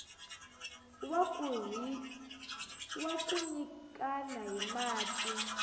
wa ku nyikana hi mati